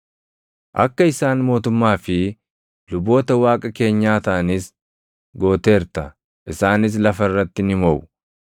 Akka isaan mootummaa fi luboota Waaqa keenyaa taʼanis gooteerta; isaanis lafa irratti ni moʼu.”